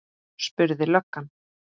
spurði löggan.